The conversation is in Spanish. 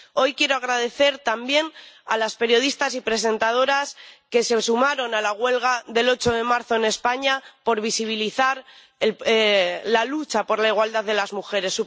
Hoy quiero dar las gracias también a las periodistas y presentadoras que se sumaron a la huelga del 8 de marzo en España por visibilizar la lucha por la igualdad de las mujeres.